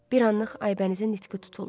Bir anlıq Aybənizin nitqi tutuldu.